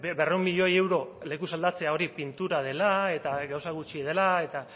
berrehun milioi euro lekuz aldatzea hori pintura dela eta gauza gutxi dela